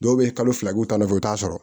Dɔw bɛ kalo fila k'u ta nɔfɛ i t'a sɔrɔ